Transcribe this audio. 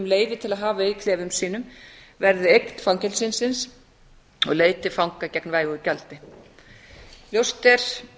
leyfi til að hafa í klefum sínum verði eign fangelsisins og leigður til fanga gegn vægu gjaldi ljóst er